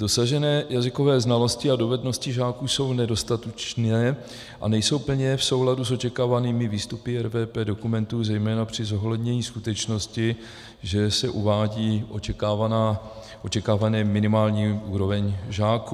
Dosažené jazykové znalosti a dovednosti žáků jsou nedostatečné a nejsou plně v souladu s očekávanými výstupy RVP dokumentů, zejména při zohlednění skutečnosti, že se uvádí očekávaná minimální úroveň žáků.